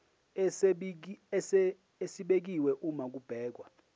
esibekiwe uma kubhekwa